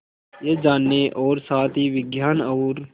यह जानने और साथ ही विज्ञान और